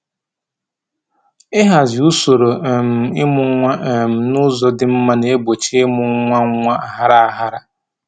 Ịhazi usoro um ịmụ nwa um n'ụzọ dị mma na-egbochi ịmụ nwa nwa aghara aghara